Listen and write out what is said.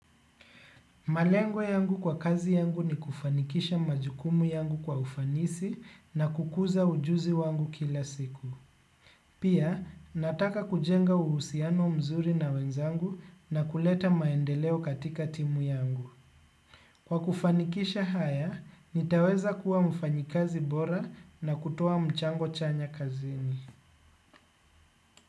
Malengo yangu kwa kazi yangu ni kufanikisha majukumu yangu kwa ufanisi na kukuza ujuzi wangu kila siku. Pia, nataka kujenga uhusiano mzuri na wenzangu na kuleta maendeleo katika timu yangu. Kwa kufanikisha haya, nitaweza kuwa mfanyikazi bora na kutoa mchango chanya kazini.